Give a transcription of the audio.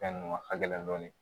Fɛn ninnu halɛn dɔɔni